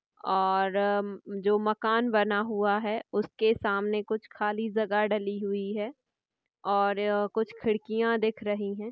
और जो मकान बना हुआ है उसके सामने कुछ खाली जगह डली हुई है और कुछ खिड़कियाँ दिख रही है।